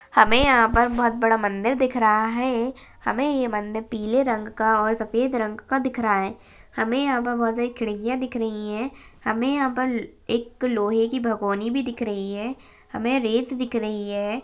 हमे यहा पर बहुत बड़ा मंदिर दिख रहा है हमे ये मंदिर पीले रंग का और सफ़ेद रंग का दिख रहा है हमे यहा पर बहुत बड़ी खिड्किया दिख रही है हमे यहा पर एक लोहे की भगोनी दिख रही है हमे रेत दिख रही है।